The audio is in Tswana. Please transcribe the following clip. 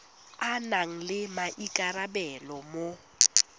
a nang le maikarabelo mo